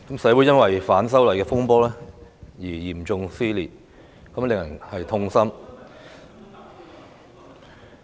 社會因為反修例風波而嚴重撕裂，令人痛心。